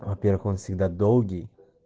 во-первых он всегда долгий